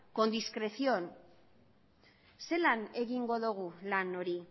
con discreción zelan egingo dugu lan hori